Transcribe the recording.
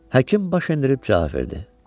Həkim baş endirib cavab verdi: